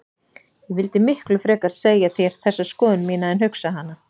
Ég vildi miklu frekar segja þér þessa skoðun mína en hugsa hana.